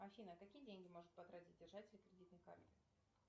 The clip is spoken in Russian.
афина какие деньги может потратить держатель кредитной карты